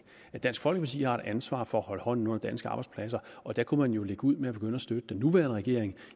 at dansk folkeparti har et ansvar for at holde hånden under danske arbejdspladser og der kunne man jo lægge ud med at begynde at støtte den nuværende regering